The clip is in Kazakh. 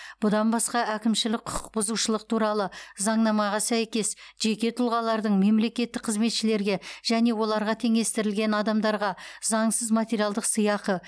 бұдан басқа әкімшілік құқық бұзушылық туралы заңнамаға сәйкес жеке тұлғалардың мемлекеттік қызметшілерге және оларға теңестірілген адамдарға заңсыз материалдық сыйақы